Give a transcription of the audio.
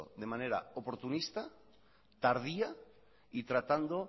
de manera oportunista tardía y tratando